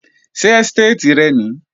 Ṣé ẹ́stéètì rẹ nìí?